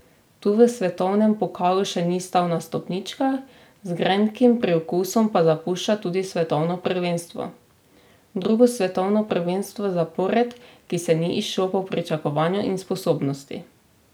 Tu v svetovnem pokalu še ni stal na stopničkah, z grenkim priokusom pa zapušča tudi svetovno prvenstvo: 'Drugo svetovno prvenstvo zapored, ki se ni izšlo po pričakovanju in sposobnosti.